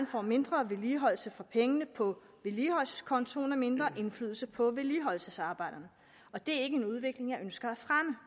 får mindre vedligeholdelse for pengene på vedligeholdelseskontoen og mindre indflydelse på vedligeholdelsesarbejderne og det er ikke en udvikling jeg ønsker at fremme